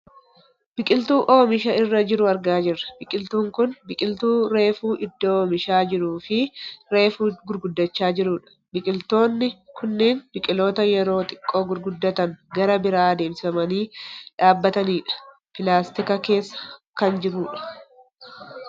Biqiltuu oomisha irra jiru argaa jirra . Biqiltuun kun biqiltuu reefu oddoo oomishaa jiruufi reefu gurguddachaa jiru dha. Biqiltoonni kunneen biqiltoota yeroo xiqqoo gurguddatan gara biraa deemsifamanii dhaabbatani dha. Pilaastika keessa kan jirudha.